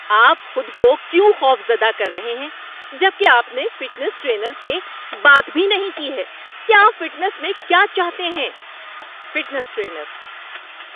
آپ خود کو کیوں خوفزدہ کر رہے ہیں جب کہ آپ نے فٹنس ٹرینر سے بات بھی نہیں کی ہے کہ آپ فٹنس میں کیا چاہتے ہیں؟ (فٹنس ٹرینر)